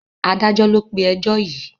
Adájọ́ ló pé ẹjọ́ yìí.